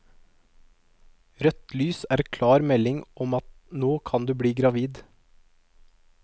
Rødt lys er klar melding om at nå kan du bli gravid.